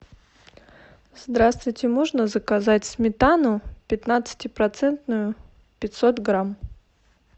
здравствуйте можно заказать сметану пятнадцати процентную пятьсот грамм